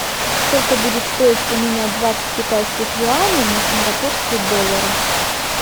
сколько будет стоить поменять двадцать китайских юаней на сингапурские доллары